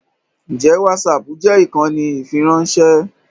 Ǹjẹ́ whatsapp jẹ́ ìkànnì ìfiránṣẹ́?